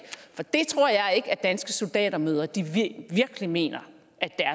for det tror jeg ikke at danske soldatermødre virkelig mener